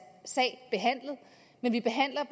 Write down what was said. sag behandlet men vi behandler